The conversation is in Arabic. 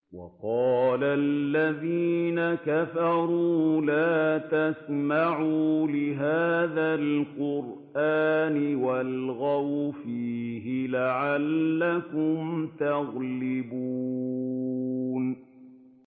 وَقَالَ الَّذِينَ كَفَرُوا لَا تَسْمَعُوا لِهَٰذَا الْقُرْآنِ وَالْغَوْا فِيهِ لَعَلَّكُمْ تَغْلِبُونَ